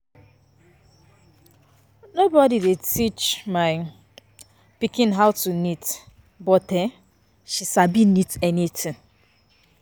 Nobody dey teach my um pikin how to knit but um she sabi knit anything